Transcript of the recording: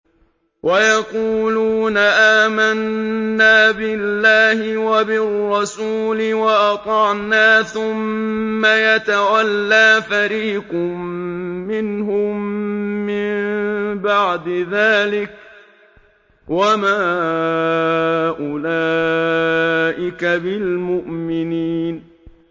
وَيَقُولُونَ آمَنَّا بِاللَّهِ وَبِالرَّسُولِ وَأَطَعْنَا ثُمَّ يَتَوَلَّىٰ فَرِيقٌ مِّنْهُم مِّن بَعْدِ ذَٰلِكَ ۚ وَمَا أُولَٰئِكَ بِالْمُؤْمِنِينَ